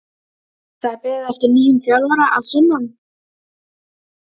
Um vorið fékk Vestmann nýlega galeiðu til umráða.